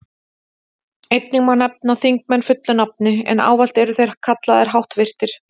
Einnig má nefna þingmenn fullu nafni, en ávallt eru þeir kallaðir háttvirtir.